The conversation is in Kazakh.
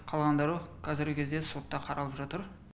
қалғандары қазіргі кезде сотта қаралып жатыр